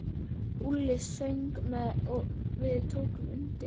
Úlli söng með og við tókum undir.